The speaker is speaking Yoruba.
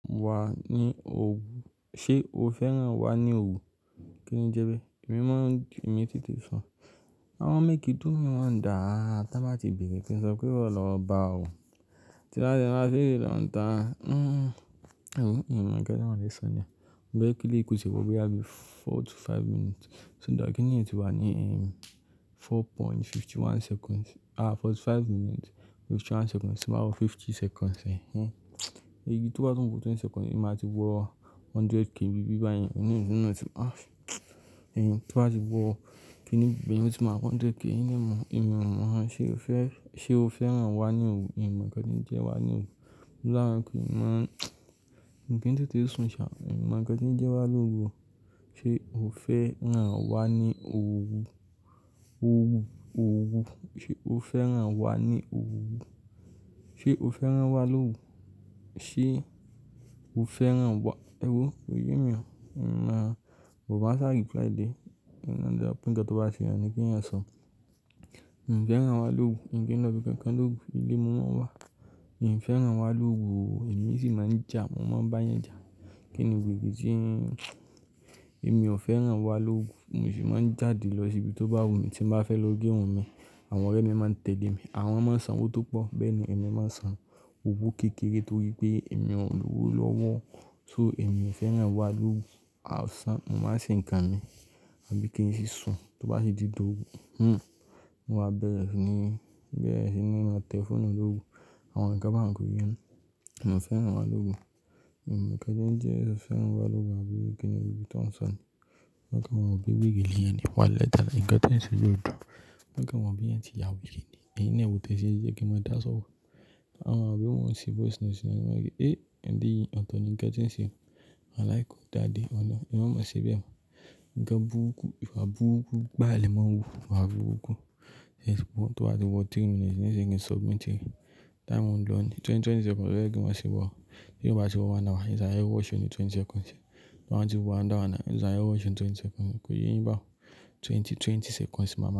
Wa ni òwú, ṣe o fẹ́ràn wa ni òwú? Kí ni njẹ́ bẹ́ẹ̀? Mo maa n mò maa n tete sún. Awon make you doomi wondà á tán bá ti bèrè kí n sọpé wó lọ bá ò. Tí n ba de maa á lọ dòn ńta, hmmm, èwo in maa nnkan ti mọ̀ fẹ́ se mo. Mo fé kí eléyi ko tie wò boya bí i four to five minutes. Kí nìyí ti wà ní four point fifty one seconds, ah forty five minutes, fifty one seconds tí n báa wo fifty seconds ẹ́, hmmm. Ibí tó bá wọ́ twenty seconds, èmi máa ti wọ̀ 100k n bí i báyen. Èwo tó bá ti wọ̀ kí nì, ibẹ́ẹ̀ ni ó ti máa wọ 100k. Èmi ò mọ̀ rán ṣe o fẹ́, ṣe o fẹ́ràn wa ni òwú? Mi mọ̀ nnkan to jẹ́ wa ni òwú. Òlá kò yí mọ́. Ǹkín tì tí sún ṣá, èmi mọ̀ kí ni jẹ́ wá l'òrú o. Ṣé o fẹ́ràn wa ni òrùú? Òrú, òrú. Ṣé o fẹ́ràn wa ni òrùú? Ṣé o fẹ́ràn wa l'òrú? Ṣé o fẹ́ràn wa? Ewo, kò yẹ́ mi o. Rán, but máa sáà i try dié. Ǹkan dára pé kí n tó bá ti wun yan ni keeyan sọ. N ò fẹ́ràn wa l'òrú, ńkín lọ́ bí i kankan l'òrú, ilé mo máa ń wà. Hín fẹ́ràn wa l'òrú, èmi sì máa ń jà, mo máa ń bá yan jà. Kí ni weré tí ń, èmi ò fẹ́ràn wa l'òrú. Mo si maa ń jáde lọ sí ibi tó bá wù mí tí ń bá fẹ́ lọ ge irun un mi. Àwọn ọ̀rẹ́ mi máa ń tẹ̀lé mi. Àwọn mọ sanwó tó pọ̀, Béèni èmi máa ń san òwo kékeré tó rí pé èmi ò lówó lọ́wọ́. So èmi ò fẹ́ràn wa l'òwú. A san, mo máa ṣì ń kà mí, a bí kí n sì sùn tó bá ti d'òrú. Hmmm. Mo wà bẹ́rẹ́ sí ní, bẹ́rẹ́ sí ní máa tẹ̀ foonu l'òrú. Àwọn nkan ba uń kó yè mi. Èmi ò fẹ́ràn wa l'òrú. Èmi kò mọ̀ kí ni ó jẹ́ ṣe fẹ́ràn wa l'òrú, àbí kí ni gbogbo eleyi tó ń sọ un. Won a kan maa ro pe wèrée leeyan ni, wàlahi talahi, ńkan te ń ṣe yóò dùn. Won a kan maa re bí i ẹeyan tí yàwèrée ni. Èyín naa e wo té ṣe n jẹ́ kí n máa dáa sọrò. Wọn à maa rò boya mò n se voice notes ní ọ̀la, "Eh, ẹ̀lẹ̀yìí, ọ̀tọ̀ ni ńkan tí ń ṣe." Walahi, ko dáa dé, olọ́hun. E má máa ṣè beẹ̀ mò. Ǹkan bùrúku, ìwà bùrúku gbaa le mọ́ n wu, ìwà bùrúku. Yes, wò tó bá ti wọ̀ three minutes, ni sìń kí n submit ẹ́. Time máa ń ló ni. Twenty, twenty seconds, ló yẹ́ kí n maá ṣiwọ̀. Ti o ba ti wo another one hour n sare watch ẹ ní twenty seconds. To ba ti wo another one hour n ṣare watch ẹ ní twenty seconds. Kò yé yín bá un. Twenty, twenty seconds máa ma.